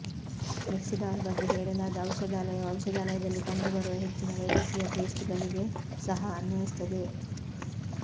Mexidol ಬಗ್ಗೆ ಹೇಳಲಾದ ಔಷಧಾಲಯವು ಔಷಧಾಲಯದಲ್ಲಿ ಕಂಡುಬರುವ ಹೆಚ್ಚಿನ ವೈದ್ಯಕೀಯ ಪೇಸ್ಟ್ಗಳಿಗೆ ಸಹ ಅನ್ವಯಿಸುತ್ತದೆ